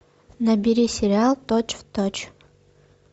набери сериал точь в точь